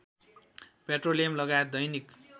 petroleum लगायत दैनिक